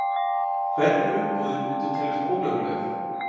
Hvernig umbúðir myndu teljast ólöglegar?